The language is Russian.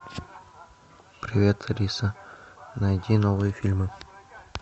привет алиса найди новые фильмы